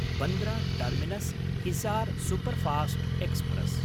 Bandra टर्मिनस्–हिसार् superfast express